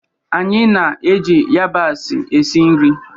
Anyị na-eji yabasị esi nri.